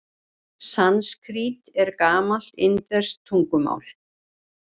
Sanskrít er gamalt indverskt tungumál.